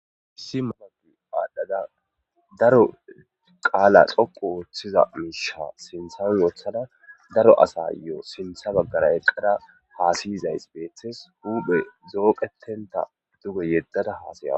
issi mamagu aadhdhada daro qaala xoqo wooththiza miisha sinthan wothada daro asayoo sintha baggara eqqada haasiyizays beeththes huphe zooqetenta duge yeddada haasayawa